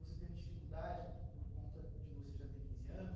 Você teve dificuldade por por conta de você já ter quinze anos?